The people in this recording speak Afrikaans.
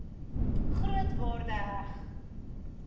groot waarde heg